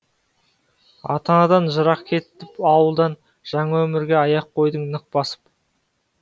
ата анадан жырақ кетіп ауылдан жаңа өмірге аяқ қойдық нық басып